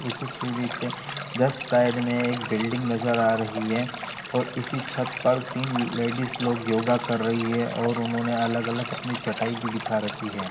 Side में एक building नज़र आ रही है और इसी छत पर तीन लेडीज लोग योगा कर रही है और उन्होंने अलग अलग अपनी चटाई भी बिछा रखी है।